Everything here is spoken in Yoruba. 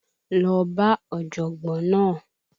Lọ bá ọ̀jọ̀gbọ́n náà!